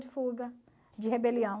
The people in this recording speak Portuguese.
de fuga, de rebelião.